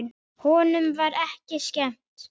Honum var ekki skemmt.